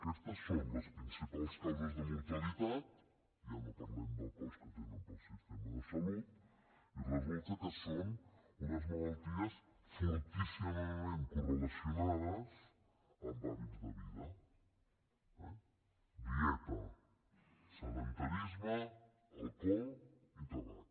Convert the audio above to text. aquestes són les principals causes de mortalitat ja no parlem del cost que tenen per al sistema de salut i resulta que són unes malalties fortíssimament correlacionades amb hàbits de vida eh dieta sedentarisme alcohol i tabac